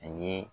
A ye